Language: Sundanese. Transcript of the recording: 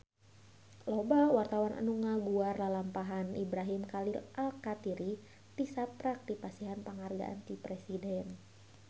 Loba wartawan anu ngaguar lalampahan Ibrahim Khalil Alkatiri tisaprak dipasihan panghargaan ti Presiden